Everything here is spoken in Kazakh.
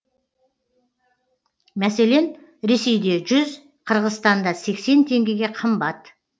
мәселен ресейде жүз қырғызстанда сексен теңгеге қымбат